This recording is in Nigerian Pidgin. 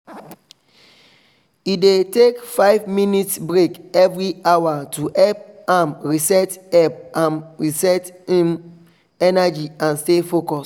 e dey take five minutes break every hour to help am reset help am reset hin energy and stay focus